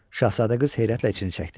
Şahzadə qız heyrətlə içini çəkdi.